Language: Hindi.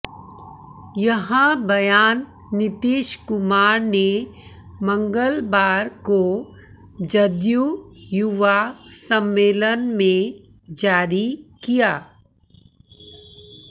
यह बयान नीतीश कुमार ने मंगलवार को जदयू युवा सम्मेलन में जारी किया